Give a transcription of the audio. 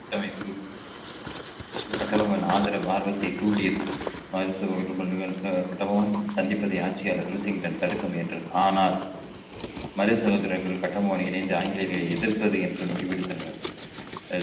கூட்டமைப்பு கட்டபொம்மன் ஆதரவு ஆர்வத்தை தூண்டியது மது கட்டபொம்மன் சந்திப்பதை ஆட்சியாளர் ரூசிங்டன் தடுக்க முயன்றது ஆனால் மருது சகோதரர்கள் கட்டபொம்மன் இணைந்து ஆங்கிலேயர்களை எதிர்ப்பது என்று முடிவெடுத்தனர்கள்